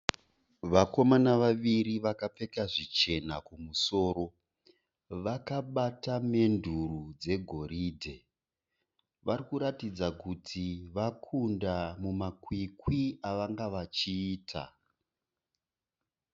Vakomana vaviri vakapfeka zvichena kumusoro. Vakabata menduro dzegoridhe. Varikuratidza kuti vakunda mumakwikwi avanganga vachiita.